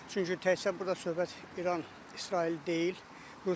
Çünki təkcə burda söhbət İran-İsraildən deyil.